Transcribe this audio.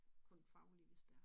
Kun faglig hvis det er